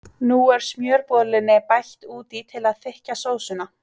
Nú er smjörbollunni bætt út í til að þykkja sósuna.